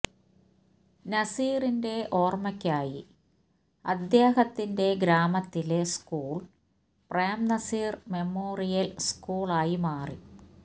നസീറിന്റെ ഓര്മയ്ക്കായി അദ്ദേഹത്തിന്റെ ഗ്രാമത്തിലെ സ്കൂള് പ്രേംനസീര് മെമ്മോറിയല് സ്കൂള് ആയി മാറി